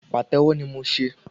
Pàtẹ́wọ́ ni mo se